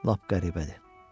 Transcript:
Lap qəribədir.